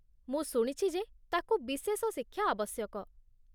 ମୁଁ ଶୁଣିଛି ଯେ ତାକୁ ବିଶେଷ ଶିକ୍ଷା ଆବଶ୍ୟକ।